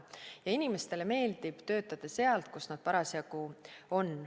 Ja inimestele meeldib töötada sealt, kus nad parasjagu on.